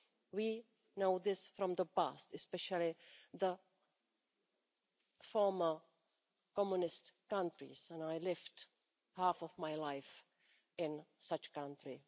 We know this from the past, especially the former communist countries, and I lived half of my life in such a country.